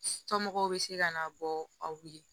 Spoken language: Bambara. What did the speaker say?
Somɔgɔw be se ka na bɔ aw ye